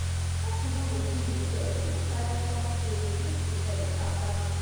person no go kill him self even bible talk say make we rest after work.